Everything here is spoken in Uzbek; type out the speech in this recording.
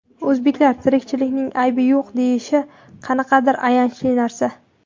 O‘zbeklar tirikchilikning aybi yo‘q, deyishi qanaqadir ayanchli narsa.